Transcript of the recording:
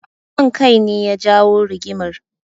Son kai ne ya jawo rigimar.